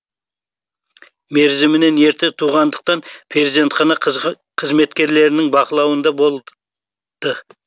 мерзімінен ерте туғандықтан перзентхана қызметкерлерінің бақылауында болды